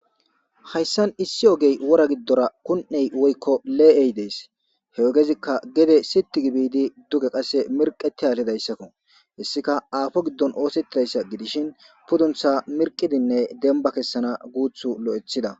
hayssan issi ogey wora giddora kun7ey woykko lee7ey dees he ogezikka gede siti gibidi duge qasse mirqeti haallidayssakko hessika aafo giddon oosettidayssa gidishin pudduntha mirqidinne demba kessana guuthu lo7ethida